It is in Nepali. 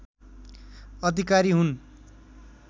अधिकारी हुन्